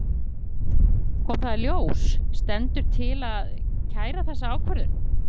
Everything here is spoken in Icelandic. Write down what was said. María Lilja Þrastardóttir: Komi það í ljós, stendur til að kæra þessa ákvörðun?